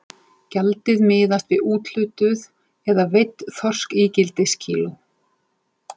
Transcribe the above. Gjaldið miðaðist við úthlutuð eða veidd þorskígildiskíló.